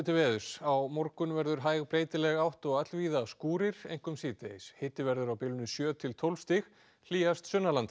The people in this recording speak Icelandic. á morgun verður hæg breytileg átt og allvíða skúrir einkum síðdegis hiti verður á bilinu sjö til tólf stig hlýjast